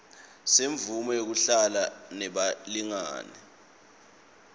semvumo yekuhlala nebalingani